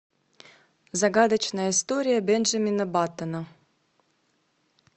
загадочная история бенджамина баттона